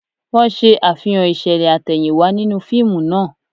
Wọ́n ṣe Àfihàn ìṣẹ̀lẹ̀ àtẹ̀yìnwá nínú fíìmù náà